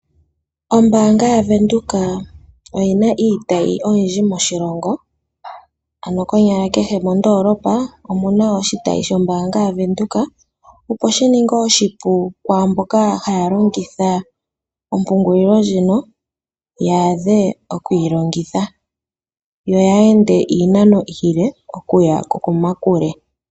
Ombaanga yaWindhoek oyina iitayi oyindji moshilongo, ano konyala kehe mondoolopa omuna oshitayi shombaanga yaWindheok opo shininge oshipu kwaamboka haya longitha ompungulilo ndjika yawape okuyilongitha yaa ende iinano iile okuya komakule.